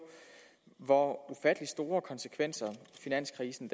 hvor ufattelig store konsekvenser finanskrisen